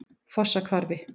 Fossahvarfi